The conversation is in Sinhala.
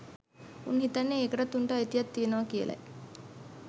උන් හිතන්නේ ඒකටත් උන්ට අයිතියක් තියෙනවා කියලයි